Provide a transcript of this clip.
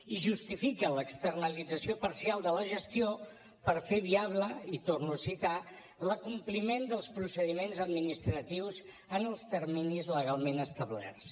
i justifica l’externalització parcial de la gestió per fer viable i ho torno a citar l’acompliment dels procediments administratius en els terminis legalment establerts